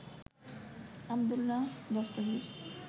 Abdullah Dastagir